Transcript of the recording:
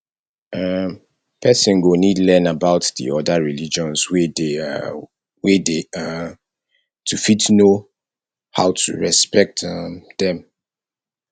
um person go need to learn about di other religions wey dey um wey dey um to fit know how to respect um them